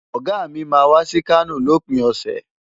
Ọ̀gá mi máa wá sí Kano lópin ọ̀sẹ̀.